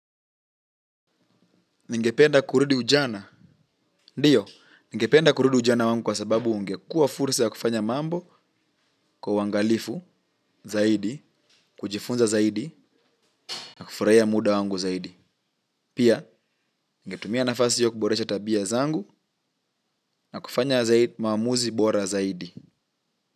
Ningependa kurudi ujana? Ndiyo, ningependa kurudi ujana wangu kwa sababu ungekuwa fursa ya kufanya mambo kwa uangalifu zaidi, kujifunza zaidi, na kufurahia muda wangu zaidi. Pia, ngetumia nafasi hiyo kuboresha tabia zangu na kufanya zaidi maamuzi bora zaidi.